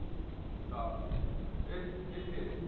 H~ HDFC